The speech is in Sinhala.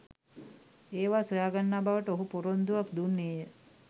ඒවා සොයා ගන්නා බවට ඔහු පොරොන්දුවක් දුන්නේය.